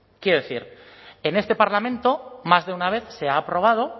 quiero decir en este parlamento más de una vez se ha aprobado